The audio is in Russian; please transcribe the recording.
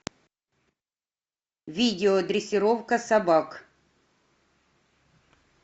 видео дрессировка собак